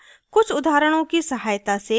कुछ उदाहरणों की सहायता से